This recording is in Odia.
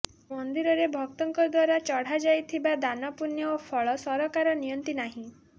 ମନ୍ଦିରରେ ଭକ୍ତଙ୍କ ଦ୍ବାରା ଚଢାଯାଇଥିବା ଦାନ ପୁଣ୍ୟ ଓ ଫଳ ସରକାର ନିଅନ୍ତି ନାହିଁ